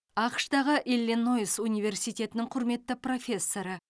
ақш тағы иллинойс университетінің құрметті профессоры